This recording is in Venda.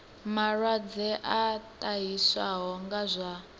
malwadze a ṱahiswaho nga zwa